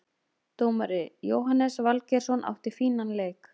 Dómari: Jóhannes Valgeirsson, átti fínan leik.